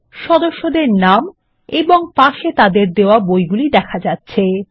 এখানে সদস্যদের নাম এবং পাশে তাদেরকে দেওয়া বইগুলি দেখা যাচ্ছে